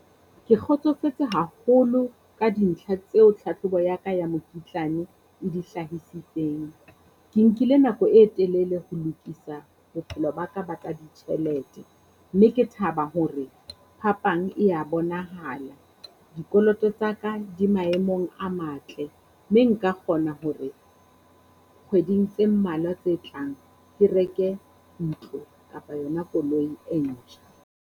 Ke kgotsofetse haholo ka dintlha tseo tlhatlhobo ya ka ya mokitlane e di hlahisitseng, ke nkile nako e telele ho lokisa bophelo ba ka ba tsa ditjhelete. Mme ke thaba hore phapang e ya bonahala. Dikoloto ttsa ka di maemong a matle, mme nka kgona hore kgweding tse mmalwa tse tlang ke reke ntlo kapa yona koloi e ntjha.